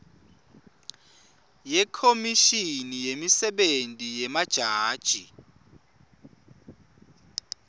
yekhomishini yemisebenti yemajaji